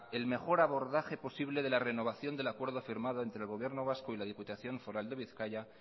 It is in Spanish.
el mejor abordaje posible de la renovación del acuerdo firmado entre el gobierno vasco y la diputación foral de bizkaia